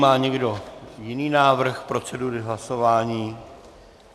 Má někdo jiný návrh procedury hlasování?